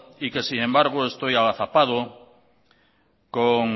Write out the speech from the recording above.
y que sin embargo estoy agazapado con